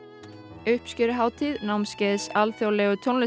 uppskeruhátíð námskeiðs alþjóðlegu